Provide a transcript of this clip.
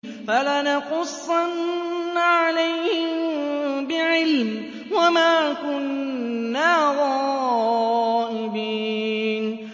فَلَنَقُصَّنَّ عَلَيْهِم بِعِلْمٍ ۖ وَمَا كُنَّا غَائِبِينَ